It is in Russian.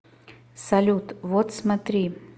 салют вот смотри